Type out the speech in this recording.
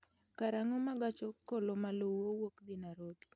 karang'o ma gach okolo maluwo wuok dhi Nairobi